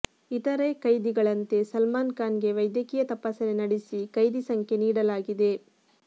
ಇತರೆ ಖೈದಿಗಳಂತೆ ಸಲ್ಮಾನ್ ಖಾನ್ ಗೆ ವೈದ್ಯಕೀಯ ತಪಾಸಣೆ ನಡೆಸಿ ಖೈದಿ ಸಂಖ್ಯೆ ನೀಡಲಾಗಿದೆ